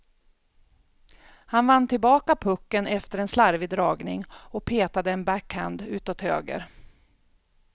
Han vann tillbaka pucken efter en slarvig dragning och petade en backhand utåt höger.